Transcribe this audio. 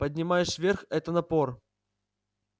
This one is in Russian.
поднимаешь вверх это напор